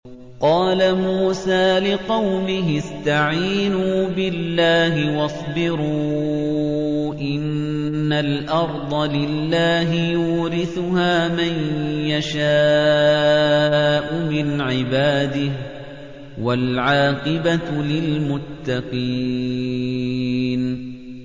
قَالَ مُوسَىٰ لِقَوْمِهِ اسْتَعِينُوا بِاللَّهِ وَاصْبِرُوا ۖ إِنَّ الْأَرْضَ لِلَّهِ يُورِثُهَا مَن يَشَاءُ مِنْ عِبَادِهِ ۖ وَالْعَاقِبَةُ لِلْمُتَّقِينَ